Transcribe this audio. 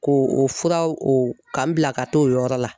K'o o furaw o k'an bila ka taa o yɔrɔ la